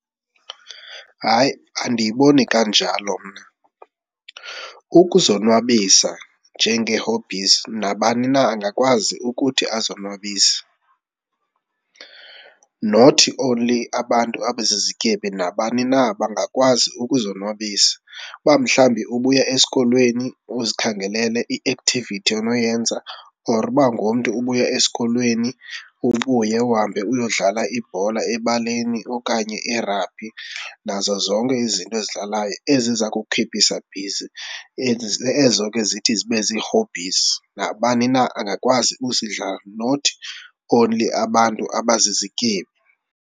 Hayi, andiyiboni kanjalo mna. Ukuzonwabisa njenge-hobbies nabani na angakwazi ukuthi azonwabise. Not only abantu abazizityebi, nabani na bangakwazi ukuzonwabisa, uba mhlawumbi ubuya esikolweni uzikhangelele i-activity onoyenza or uba ngumntu ubuya esikolweni ubuye uhambe uyodlala ibhola ebaleni okanye irabhi nazo zonke izinto ezidlalayo eziza kukhiphisa bhizi, ezo ke zithi zibe zii-hobbies. Nabani na angakwazi ukuzidlala not only abantu abazizityebi.